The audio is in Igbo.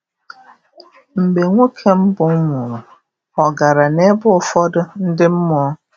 Mgbe nwoke mbụ nwụrụ, ọ gara n'ebe ụfọdụ ndị mmụọ?